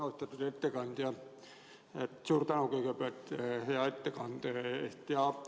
Austatud ettekandja, suur tänu kõigepealt hea ettekande eest!